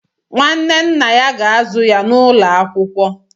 Nwanne nna ya ga-azụ ya n'ụlọ akwụkwọ.